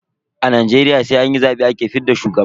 A Najeriya sai an yi zabe ake fidda shugaba.